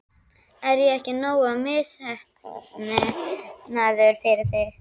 Er ég ekki nógu misheppnaður fyrir þig?